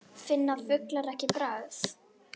Finna fuglar ekki bragð?